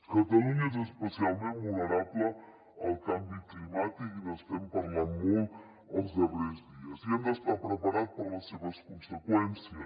catalunya és especialment vulnerable al canvi climàtic n’estem parlant molt els darrers dies i hem d’estar preparats per a les seves conseqüències